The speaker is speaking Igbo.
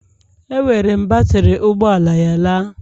Ewere m batrị ụgbọ ala ya laa